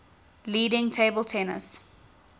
leading table tennis